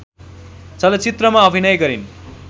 चलचित्रमा अभिनय गरिन्